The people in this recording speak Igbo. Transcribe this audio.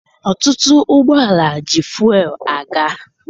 Ọtụtụ ụgbọala ji fụel aga.